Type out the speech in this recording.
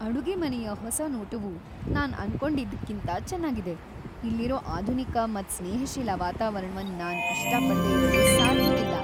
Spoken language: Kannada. ಅಡುಗೆಮನೆಯ ಹೊಸ ನೋಟವು ನಾನ್ ಅನ್ಕೋಡಿದ್ಕಿಂಥ ಚನ್ನಾಗಿದೆ; ಇಲ್ಲಿರೋ ಆಧುನಿಕ ಮತ್ ಸ್ನೇಹಶೀಲ ವಾತಾವರಣವನ್ ನಾನ್ ಇಷ್ಟಪಡದೆ ಇರಲು ಸಾಧ್ಯವಿಲ್ಲ.